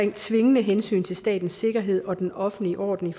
i tvingende hensyn til statens sikkerhed og den offentlige orden